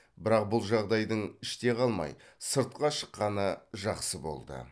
бірақ бұл жағдайдың іште қалмай сыртқа шыққаны жақсы болды